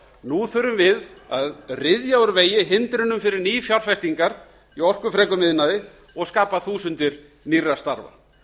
nú þurfum við að ryðja úr vegi hindrunum fyrir nýfjárfestingar í orkufrekum iðnaði og skapa þúsundir nýrra starfa